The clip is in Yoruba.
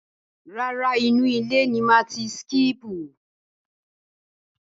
Rárá, inú ile ni màá ti síkípù.